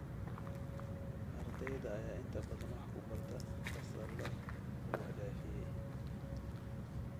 Ardayda ayaa inta badan wax ku barta fasallo buux dhaafiyay.